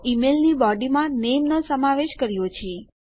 તો ઈમેલની બોડી માં નેમનો સમાવેશ કર્યો છે